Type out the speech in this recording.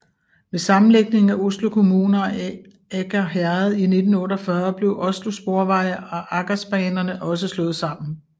Ved sammenlægningen af Oslo kommune og Aker herred i 1948 blev Oslo Sporveier og Akersbanerne også slået sammen